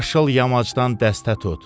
Yaşıl yamacdan dəstə tut.